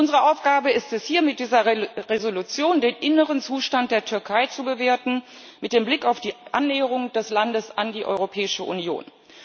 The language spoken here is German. Unsere Aufgabe ist es hier, mit dieser Entschließung den inneren Zustand der Türkei zu bewerten mit dem Blick auf die Annäherung des Landes an die Europäische Union.